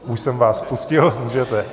Už jsem vás pustil, můžete.